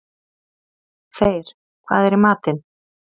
Þeyr, hvað er í matinn?